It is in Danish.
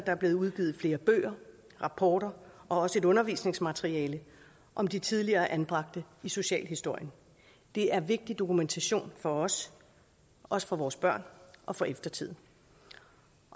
er blevet udgivet flere bøger rapporter og også et undervisningsmateriale om de tidligere anbragte i socialhistorien det er vigtig dokumentation for os også for vores børn og for eftertiden